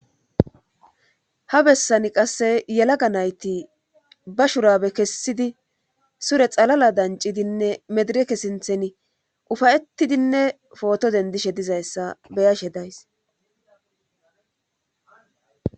Ha bessani qasse yelaga nayti ba shurabe kessidi sure xalala dancidinne medireke sinthen ufayetidinne footo dendishe dizayssa beyashe days.